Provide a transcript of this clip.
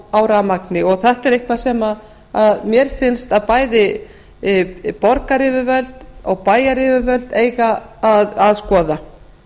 á rafmagni þetta er eitthvað sem mér finnst að borgaryfirvöld og bæjaryfirvöld eigi að skoða